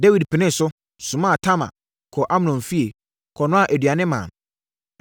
Dawid penee so, somaa Tamar kɔɔ Amnon fie, kɔnoaa aduane maa no.